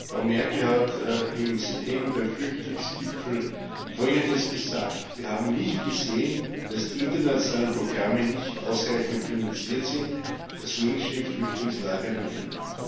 Frau Merkel hat im September beim Flüchtlingsgipfel Folgendes gesagt Wir haben nicht gesehen, dass die internationalen Programme nicht ausreichend finanziert sind, dass Menschen in Flüchtlingslagern hungern.